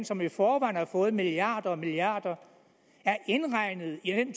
som i forvejen har fået milliarder og milliarder er indregnet i den